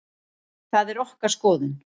Það er okkar skoðun.